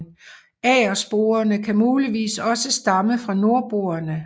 Agersporene kan muligvis også stamme fra nordboerne